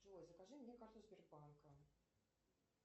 джой закажи мне карту сбербанка